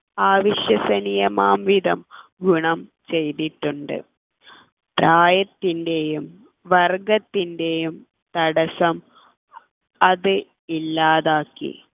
അവിശ്വസനീയമാംവിധം ഗുണം ചെയ്തിട്ടുണ്ട് പ്രായത്തിൻ്റെയും വർഗ്ഗത്തിൻ്റെയും തടസ്സം അത് ഇല്ലാതാക്കി